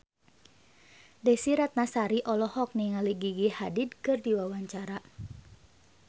Desy Ratnasari olohok ningali Gigi Hadid keur diwawancara